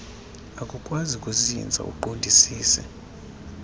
akukwazi kuzinza uqondisise